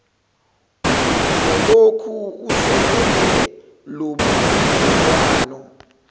uzolokhu esekele lobubudlelwano